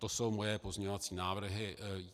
To jsou moje pozměňovací návrhy.